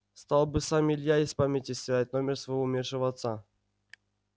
стал бы сам илья из памяти стирать номер своего умершего отца